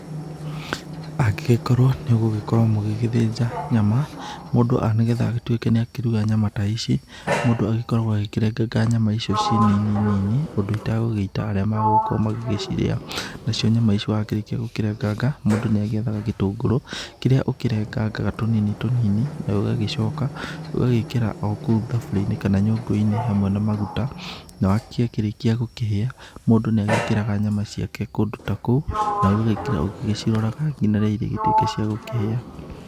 Angĩkorwo nĩ gũgĩkorwo mũgĩgĩthinja nyama, mũndũ nĩ getha agĩtũĩke nĩ akĩruga nyama ta ici, mũndũ agĩkoragwo akĩrenganga nyama icio ciĩ nini nini ũndũ itagũgĩita arĩa magũgĩkorwo magĩgĩcirĩa. Na cio nyama ici wakĩrĩkia gũkĩrenganga, mũndũ nĩ agĩethaga gĩtũngũrũ kĩrĩa ukĩrengangaga tũnini tĩnini, na ũgagĩcoka ũgagĩĩkĩra okũu thaburia-inĩ kana nyũngũ-inĩ hamwe na maguta, na gĩa kĩrĩkia gũkĩhia mũndũ nĩ agĩkĩraga nyama ciake kũndũ ta kũu, na ũgagĩĩkĩra ũgĩciroraga nginya rĩrĩa irĩgĩtuĩka cia gũkĩhĩa.